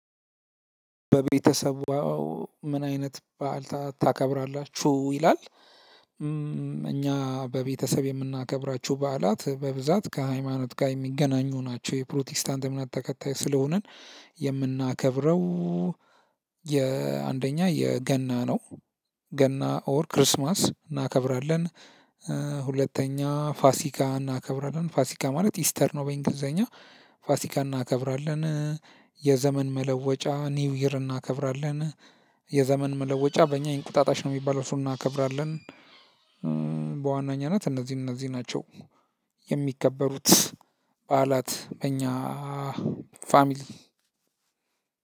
በቤተሰቡ ምን አይነት በዓል ታከብራላችሁ? ይላል እኛ በቤተሰብ የምናከብራቸው በዓላት በብዛት ከሃይማኖት ጋር የሚገናኙ ናቸው። የፕሮቴስታንት እምነት ተከታይ ስለሆንን የምናከብረው የአንደኛ የገና ነው። ገና ኦር ክርስማስ እናከብራለን። ሁለተኛ ፋሲካ እናከብራለን። ፋሲካ ማለት ኢስተር ነው በእንግሊዘኛ ፋሲካ እናከብራለን። የዘመን መለወጫ ኒውይር እናከብራለን። የዘመን መለወጫ በእኛ የእንቁጣጣሽ ነው የሚባለው እሱን እናከብራለን። ናት እነዚህን እነዚህ ናቸው። የሚከበሩት በዓላት በእኛ ፋሚሊ።